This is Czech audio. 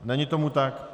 Není tomu tak.